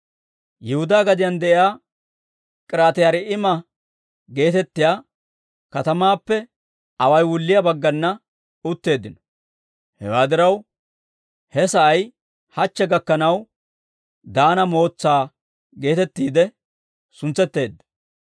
Yihudaa gadiyaan de'iyaa K'iriyaati-Yi'aariima geetettiyaa katamaappe away wulliyaa baggana utteeddino. Hewaa diraw, he sa'ay hachche gakkanaw Daana Mootsaa geetettiide suntsetteedda.